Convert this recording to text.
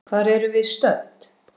Hvar erum við stödd?